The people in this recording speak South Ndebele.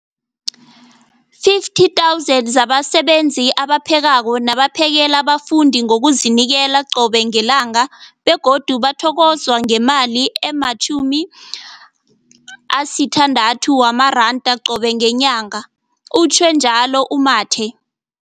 50 000 zabasebenzi abaphekako nabaphakela abafundi ngokuzinikela qobe ngelanga, begodu bathokozwa ngemali ema-960 wamaranda qobe ngenyanga, utjhwe njalo u-Mathe.